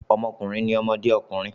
Ọmọkùnrin ni ọmọdé ọkùnrin.